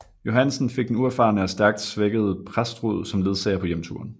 Johansen fik den uerfarne og stærkt svækkede Prestrud som ledsager på hjemturen